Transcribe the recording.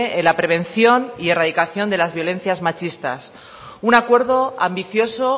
en la prevención y erradicación de las violencias machistas un acuerdo ambicioso